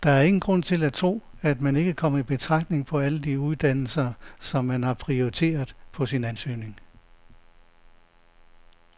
Der er ingen grund til at tro, at man ikke kommer i betragtning på alle de uddannelser, som man har prioriteret på sin ansøgning.